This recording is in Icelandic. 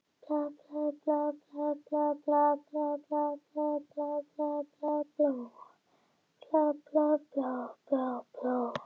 Þá væri hann núna uppi í fjöllunum með nýju skíðagleraugun og sólarvörn framan í sér.